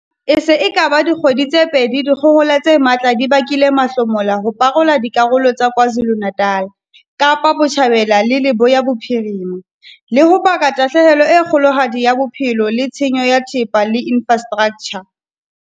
E se e ka ba dikgwedi tse pedi dikgohola tse matla di bakile mahlomola ho parola le dikarolo tsa KwaZuluNatal, Kapa Botjhabela le Leboya Bophirima, le ho baka tahlehelo e kgolohadi ya bophelo le tshenyo ya thepa le infra straktjha.